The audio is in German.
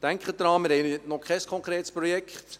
Denken Sie daran: Wir haben noch kein konkretes Projekt.